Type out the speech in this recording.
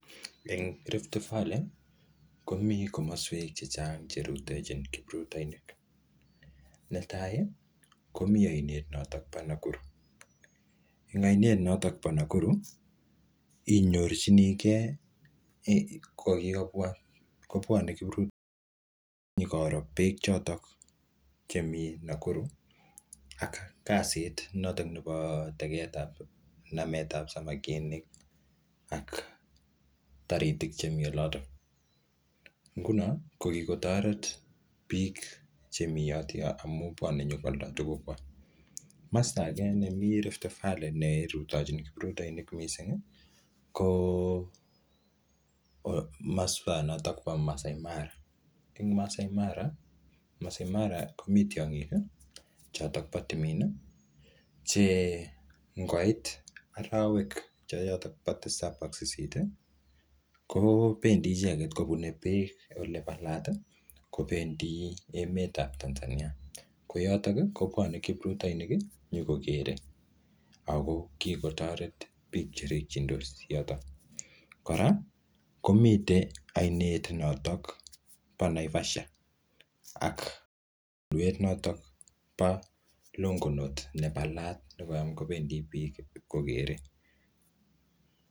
Eng Rift Valley, komi komaswek chechang che rutochin kipritoinik. Ne tai, komi aiet notok po Nakuru, Eng ainet ntok po Nakuru, inyorchinikei, ko kikobwaa, kobwane kiprut nyikoro beek chotok chemii Nakuru, ak kasit notok nepo teget ap namet ap samakinik aka taritik chemii olotok. Nguno, ko kikotoret biik chemi yotokto amuu bwane nyikwalda tuguk kwak. Masta age nemi Rift valley ne rutochin kiprutoinik missing, ko masta notok po Maasai Mara. Eng Maasai Mara, komii tiongik chotok po timin, che ngoit arawek che chotok po tisap ak sisit, kobendi icheket kobune beek ole palat, kobendi emet ap Tanzania. Ko yotok, kobwane kiprutoinik, nyikokere, ako kikotoret biik che rikchindos yotok. Kora, komitei ainet notok po Naivasha, ak tulwet notok po Longonot ne palat, necham kobendi biik ipkokere